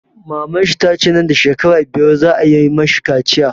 Maman shi tace nan da shekara biyar za a yi mashi kaciya